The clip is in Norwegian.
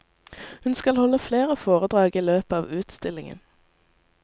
Hun skal holde flere foredrag i løpet av utstillingen.